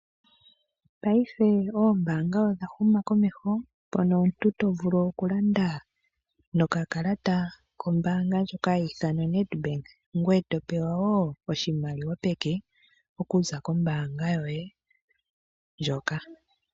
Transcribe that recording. Payife oombaanga odha huma komeho mono omuntu tovulu okulanda nokakalata koombaanga yo Netbank, ngoye topewa woo oshimaliwa peke oku za kombaanga yoye hoka.